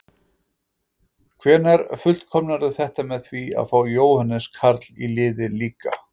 Hvenær fullkomnarðu þetta með því að fá Jóhannes Karl í liðið líka?